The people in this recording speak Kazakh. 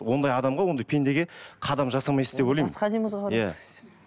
ондай адамға ондай пендеге қадам жасамайсыз деп ойлаймын басқа әдемі қызға иә